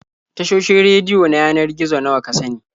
Tashoshin rediyo na yanar gizo nawa ka sani?